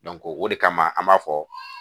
o de kama an b'a fɔ